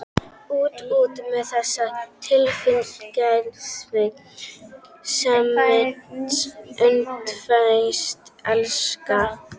Út, út með þessa tilfinningasemi: sameinast, umvefjast, elska.